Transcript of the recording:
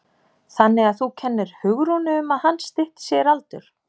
Þannig að þú kennir Hugrúnu um að hann stytti sér aldur?